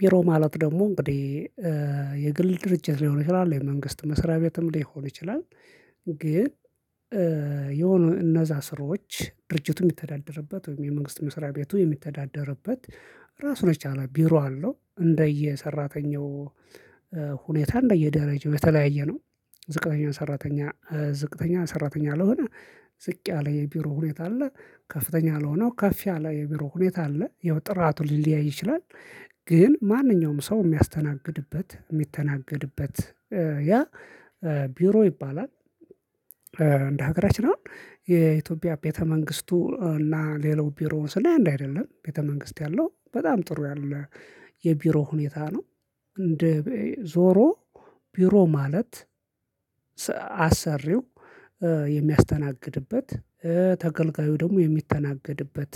ቢሮ ማለት ደግሞ እንግዲህ የግል ድርጅት ሊሆን ይችላል የመንግስት መስሪያ ቤትም ሊሆን ይችላል። ግን የሆነ እነዛ ስሮች ድርጅቱም የሚተዳደርበት ወይም የመንግስት መስሪያ ቤቱ የሚተዳደርበት ራሱን የቻለ ቢሮ አለው እንደየ ሰራተኛው ሁኔታ እንደየደረጃው የተለያየ ነው። ዝቅተኛ ሰራተኛ ዝቅተኛ ሰራተኛ ለሆነ ዝቅ ያለ የቢሮ ሁኔታ አለ ከፍተኛ ለሆነው ከፍ ያለ የቢሮ ሁኔታ አለ ይኸው ጥራቱ ሊለያይ ይችላል። ግን ማንኛውም ሰው የሚያስተናግድበት የሚተናገድበት ያ ቢሮ ይባላል። እንደ ሀገራችን አሁን የኢትዮጵያ ቤተ መንግስቱ እና ሌላው ቢሮውን ስለህ አንድ አይደለም ቤተ መንግስት ያለው በጣም ጥሩ ያለ የቢሮ ሁኔታ ነው። እንደ ዞሮ ቢሮ ማለት አሰሪው የሚያስተናግድበት ተገልጋዩ ደግሞ የሚተናገድበት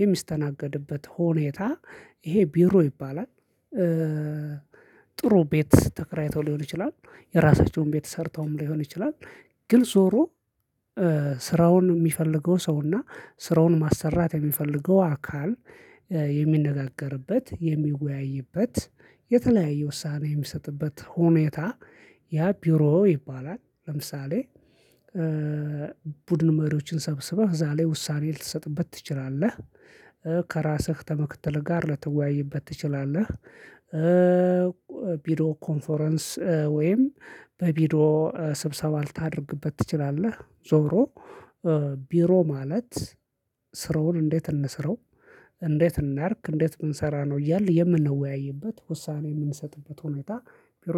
የሚስተናገድበት ሆኔታ ይሄ ቢሮ ይባላል። ጥሩ ቤት ተከራይተው ሊሆን ይችላል የራሳቸውን ቤት ሰርተውም ሊሆን ይችላል። ግን ዞሮ ስራውን የሚፈልገው ሰው እና ስራውን ማሰራት የሚፈልገው አካል የሚነጋገርበት የሚወያይበት የተለያየ ውሳኔ የሚሰጥበት ሁኔታ ያ ቢሮ ይባላል። ለምሳሌ ቡድን መሪዎችን ሰብስበህ ዛሬ ውሳኔ ልትሰጥበት ትችላለህ። ከራስህ ከምክትልህ ጋር ልትወያይበት ትችላለህ። ቪዲዮ ኮንፎረንስ ወይም በቪዲዮ ስብሰባ ልታደርግበት ትችላለህ። ዞሮ ቢሮ ማለት ስራውን እንዴት እንስረው እንዴት እናርክ እንዴት ብንሰራ ነው እያልን የምንወያይበት ውሳኔ የምንሰጥበት ሁኔታ ቢሮ